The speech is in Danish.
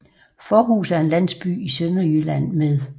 Fårhus er en landsby i Sønderjylland med